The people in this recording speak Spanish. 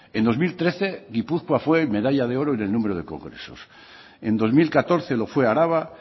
en dos mil trece gipuzkoa fue medalla de oro en el número de congresos en dos mil catorce lo fue araba